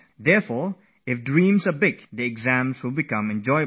So, if our dreams are big and magnificent, exams will become a joyful experience